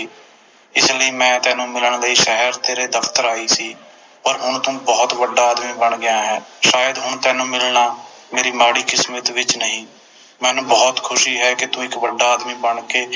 ਇਸ ਲਈ ਮੈਂ ਤੈਨੂੰ ਮਿਲਣ ਸ਼ਹਿਰ ਤੇਰੇ ਦਫਤਰ ਆਈ ਸੀ ਪਰ ਹੁਣ ਤੂੰ ਬੋਹੋਤ ਵੱਡਾ ਆਦਮੀ ਬਣ ਗਿਆ ਹੈ ਸ਼ਾਇਦ ਹੁਣ ਤੈਨੂੰ ਮਿਲਣਾ ਮੇਰੀ ਮਾੜੀ ਕਿਸਮਤ ਵਿਚ ਨਹੀਂ ਮੈਨੂੰ ਬੋਹੋਤ ਖੁਸ਼ੀ ਹੈ ਕੇ ਤੂੰ ਇਕ ਵੱਡਾ ਆਦਮੀ ਬਣ ਕੇ